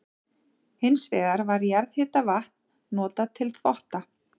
Hins vegar var jarðhitavatn notað til þvotta.